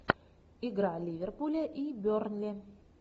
игра ливерпуля и бернли